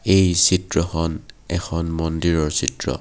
এই চিত্ৰখন এখন মন্দিৰৰ চিত্ৰ।